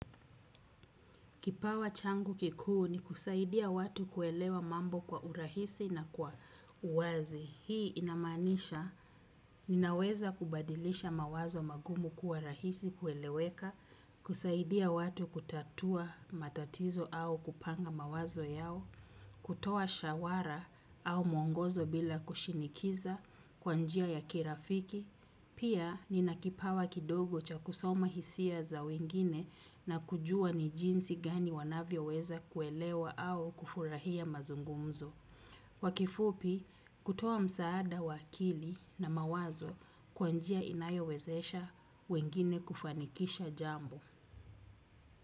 Kipawa changu kikuu ni kusaidia watu kuelewa mambo kwa urahisi na kwa uwazi. Hii inamaanisha ninaweza kubadilisha mawazo magumu kuwa rahisi kueleweka kusaidia watu kutatua matatizo au kupanga mawazo yao kutoa shawara au muongozo bila kushinikiza, kwa njia ya kirafiki, pia nina kipawa kidogo cha kusoma hisia za wengine na kujua ni jinsi gani wanavyoweza kuelewa au kufurahia mazungumzo. Kwa kifupi, kutoa msaada wa akili na mawazo kwa njia inayowezesha wengine kufanikisha jambo.